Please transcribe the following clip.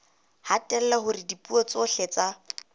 hatella hore dipuo tsohle tsa